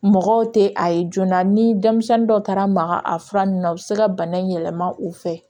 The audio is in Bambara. Mɔgɔw tɛ a ye joona ni denmisɛnnin dɔ taara maga a fura ninnu na u bɛ se ka bana in yɛlɛma u fɛ